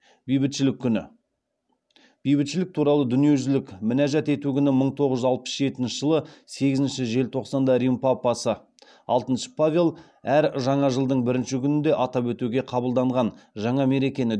бейбітшілік күні бейбітшілік туралы дүниежүзілік мінәжат ету күні мың тоғыз жүз алпыс жетінші жылдың сегізінші желтоқсанында рим папасы алтыншы павел әр жаңа жылдың бірінші күнінде атап өтуге қабылданған жаңа мерекені